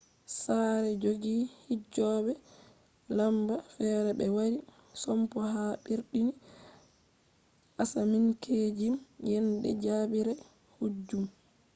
sare jogi hijjobe lamba fere be wari sompo ha birni asaminkeejim yende jajibere hijju